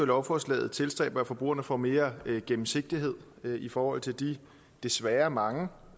lovforslaget tilstræber at forbrugerne får mere gennemsigtighed i forhold til de desværre mange